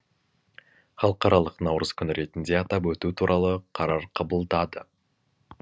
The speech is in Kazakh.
халықаралық наурыз күні ретінде атап өту туралы қарар қабылдады